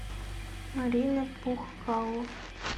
марина пухкало